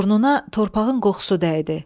Burnuna torpağın qoxusu dəydi.